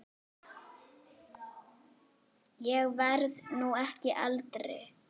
Ég verð nú ekki eldri!